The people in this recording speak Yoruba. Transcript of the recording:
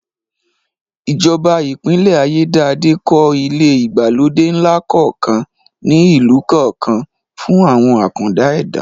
Ìjọba Ìpínlẹ̀ Ayédáadé kọ́ ilé ìgbàlódé ńlá kọ̀ọ̀kan ní ìlú kọ̀ọ̀kan fún àwọn àkàndá ẹ̀dá